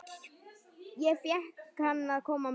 Ég fékk að koma með.